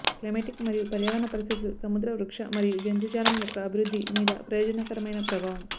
climatic మరియు పర్యావరణ పరిస్థితులు సముద్ర వృక్ష మరియు జంతుజాలం యొక్క అభివృద్ధి మీద ప్రయోజనకరమైన ప్రభావం